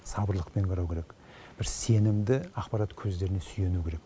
сабырлықпен қарау керек бір сенімді ақпарат көздеріне сүйену керек